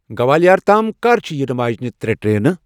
گوالَیار تام کر چِھ یینہٕ واجنِہ ترے ٹرینہٕ ؟